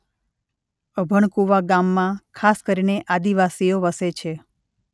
અભણકુવા ગામમાં ખાસ કરીને આદિવાસીઓ વસે છે.